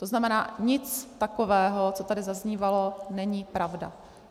To znamená, nic takového, co tady zaznívalo, není pravda.